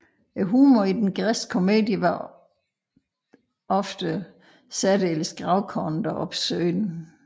Humoren i den græske komedie var ofte særdeles grovkornet og obskøn